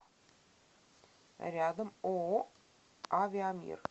рядом ооо авиамир